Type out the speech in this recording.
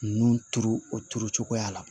Nunnu turu o turu cogoya la